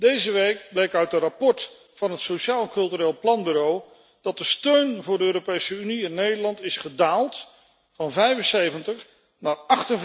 Deze week bleek uit een rapport van het Sociaal Cultureel Planbureau dat de steun voor de Europese Unie in Nederland is gedaald van 75 naar